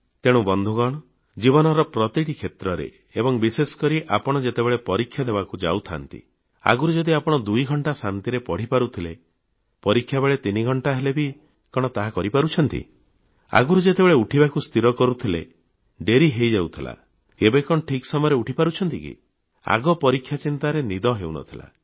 ତେଣୁ ବନ୍ଧୁଗଣ ଜୀବନର ପ୍ରତିଟି କ୍ଷେତ୍ରରେ ଏବଂ ବିଶେଷକରି ଆପଣ ଯେତେବେଳେ ପରୀକ୍ଷା ଦେବାକୁ ଯାଉଥାନ୍ତି ଆଗରୁ ଯଦି ଆପେଣ ଦୁଇଘଣ୍ଟା ଶାନ୍ତିରେ ପଢ଼ି ପାରୁଥିଲେ ପରୀକ୍ଷା କେବଳ ତିନି ଘଣ୍ଟା ହେଲେ ବି କଣ ତାହା କରି ପାରୁଛନ୍ତି ଆଗରୁ ଯେତେବେଳେ ଉଠିବାକୁ ସ୍ଥିର କରୁଥିଲେ ଡେରି ହେଇଯାଉଥିଲା ଏବେ କଣ ଠିକ୍ ସମୟରେ ଉଠି ପାରୁଛନ୍ତି କି ଆଗ ପରୀକ୍ଷା ଚିନ୍ତାରେ ନଦି ହେଉନଥିଲା